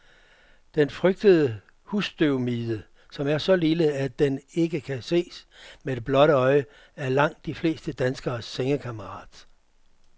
Den frygtede husstøvmide, som er så lille, at den ikke kan ses med det blotte øje, er langt de fleste danskeres sengekammerat.